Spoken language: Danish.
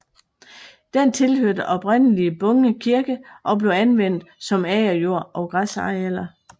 Den tilhørte oprindelig Bunge Kirke og blev anvendt som agerjord og græsarealer